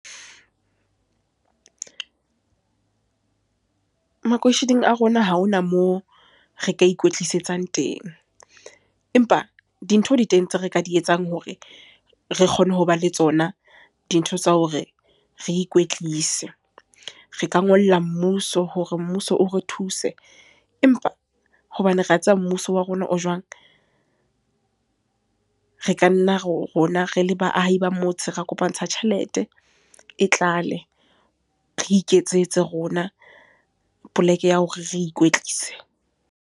Makeisheneng a rona ha hona moo re ka ikwetlisetsang teng. Empa dintho di teng tse re ka di etsang hore re kgone ho ba le tsona, dintho tsa hore re ikwetlise. Re ka ngolla mmuso, hore mmuso o re thuse. Empa, hobane re a tseba mmuso wa rona o jwang. Re ka nna rona rele baahi ba motse, ra kopantsha tjhelete, e tlale. Re iketsetse rona, poleke ya hore re ikwetlise.